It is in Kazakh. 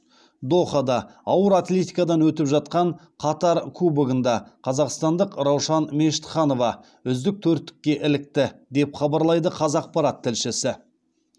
дохада ауыр атлетикадан өтіп жатқан қатар кубогында қазақстандық раушан мешітханова үздік төрттікке ілікті деп хабарлайды қазақпарат тілшісі